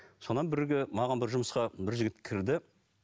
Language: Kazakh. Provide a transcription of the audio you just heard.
содан маған бір жұмысқа бір жігіт кірді